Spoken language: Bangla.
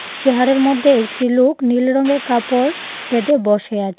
চেহারের মধ্যে একটি লোক নীল রংয়ের কাপড় বেঁধে বসে আছে।